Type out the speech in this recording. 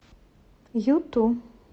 юту